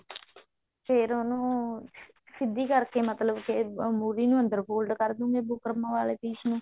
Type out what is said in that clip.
ਫ਼ੇਰ ਉਹਨੂੰ ਸਿੱਧੀ ਕਰਕੇ ਮਤਲਬ ਕੇ ਮੁਰ੍ਹੀ ਨੂੰ ਅੰਦਰ fold ਕਰ ਦਵਾਂਗੇ ਬੁਕਰਮ ਵਾਲੇ piece ਨੂੰ